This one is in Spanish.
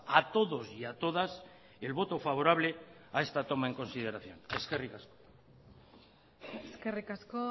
a todos y a todas el voto favorable a esta toma en consideración eskerrik asko eskerrik asko